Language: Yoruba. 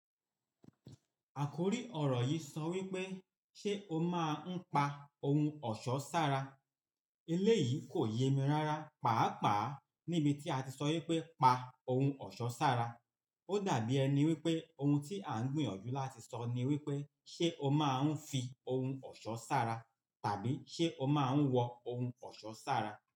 Àkórí ọ̀rọ̀ yìí sọ wípé, "Ṣé o máa ń pa ohun ọ̀ṣọ́ sára?" Eléyìí kò yé mi rára. Pàápàá níbi tí a ti sọ wípé, "Pa ohun ọ̀ṣọ́ sára", ó dàbí ẹni wípé ohun tí à ń gbìyànjú láti sọ ni wípé, "Ṣé o máa ń fi ohun ọ̀ṣọ́ sára?" tàbí "Ṣé o máa ń wọ ohun ọ̀ṣọ́ sára?"